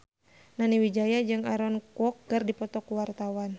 Nani Wijaya jeung Aaron Kwok keur dipoto ku wartawan